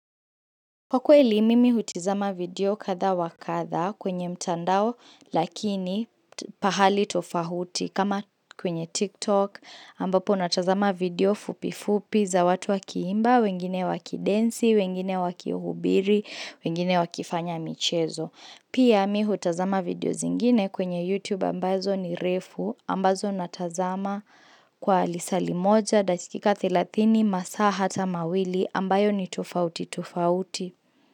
Kwa kweli mimi hutizama video katha wa katha kwenye mtandao lakini pahali tofauti kama kwenye TikTok ambapo natazama video fupi fupi za watu wakiimba, wengine wakidensi, wengine wakihubiri, wengine wakifanya michezo. Pia mi hutazama video zingine kwenye YouTube ambazo ni refu ambazo natazama kwa lisali moja da chikika 30 masa hata mawili ambayo ni tufauti tufauti.